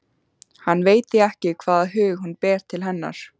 Hann veit því ekki hvaða hug hún ber til hennar.